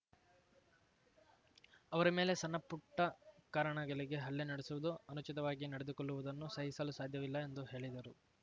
ಅವರ ಮೇಲೆ ಸಣ್ಣಪುಟ್ಟಕಾರಣಗಳಿಗೆ ಹಲ್ಲೆ ನಡೆಸುವುದು ಅನುಚಿತವಾಗಿ ನಡೆದುಕೊಳ್ಳುವುದನ್ನು ಸಹಿಸಲು ಸಾಧ್ಯವಿಲ್ಲ ಎಂದು ಹೇಳಿದರು